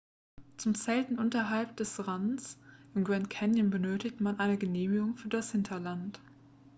zum zelten unterhalb des rands im grand canyon benötigt man eine genehmigung für das hinterland